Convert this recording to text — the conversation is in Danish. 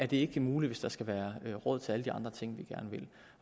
det er ikke muligt hvis der skal være råd til alle de andre ting vi gerne vil